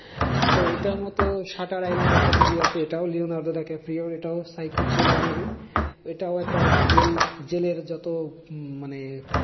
তো এটার মতো সাটার আইল্যান্ড একটা movie আছে, এটাও লিওনার্দো দ্য ক্যাফেরিওর psycho trailer movie এটাও একটা জেল জেলের যত উম মানে